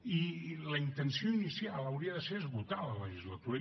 i la intenció inicial hauria de ser esgotar la legislatura